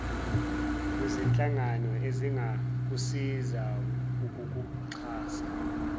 lwezinhlangano ezingakusiza ngokukuxhasa